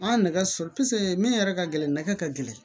An ye nɛgɛso min yɛrɛ ka gɛlɛn nɛgɛ ka gɛlɛn